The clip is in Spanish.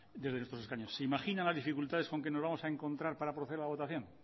desde nuestros escaños se imaginan las dificultades con que nos vamos a encontrar para proceder a la votación